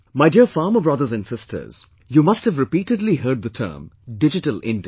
My dear farmer brothers and sisters, you must have repeatedly heard the term Digital India